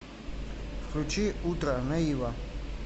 включи утро наива